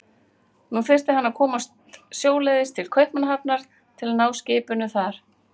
Nú þyrfti hann að komast sjóleiðis til Kaupmannahafnar til að ná skipinu þar.